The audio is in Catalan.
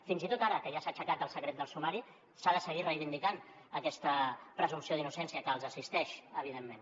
fins i tot ara que ja s’ha aixecat el secret del sumari s’ha de seguir reivindicant aquesta presumpció d’innocència que els assisteix evidentment